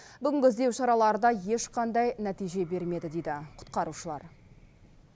бүгінгі іздеу шаралары да ешқандай нәтиже бермеді дейді құтқарушылар